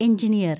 engineer‍